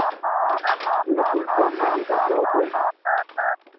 हा Course online आहे का offline